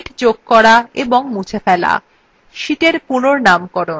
sheets যোগ করা এবং মুছে ফেলা sheetsএর পুনঃনামকরন